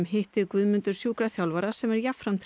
hitti Guðmundur sjúkraþjálfara sem er jafnframt